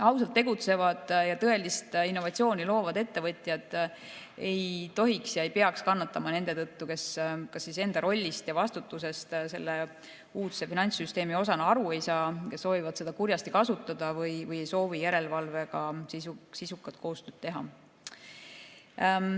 Ausalt tegutsevad ja tõelist innovatsiooni loovad ettevõtjad ei tohiks ja ei peaks kannatama nende tõttu, kes kas enda rollist ja vastutusest selle uudse finantssüsteemi osana aru ei saa ja soovivad seda kurjasti kasutada või ei soovi järelevalvega sisukat koostööd teha.